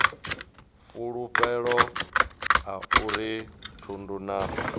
fulufhelo a uri thundu na